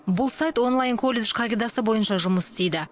бұл сайт онлайн колледж қағидасы бойынша жұмыс істейді